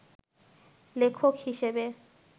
লেখক হিসেবে